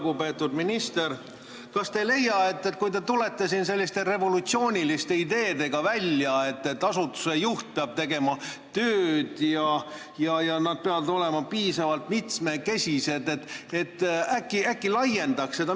Lugupeetud minister, kas te ei leia, et kui te tulete siin selliste revolutsiooniliste ideedega välja, et asutuse juhid peavad tegema tööd ja olema piisavalt mitmekesise taustaga, siis äkki võiks seda laiendada?